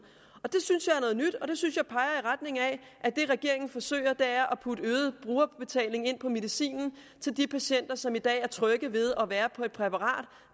nyt og det synes jeg peger i retning af at det regeringen forsøger er at putte øget brugerbetaling ind på medicinen og de patienter som i dag er trygge ved at være på et præparat